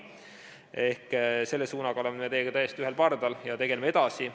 Selle suunaga oleme me teiega täiesti ühel pardal ja tegeleme sellega edasi.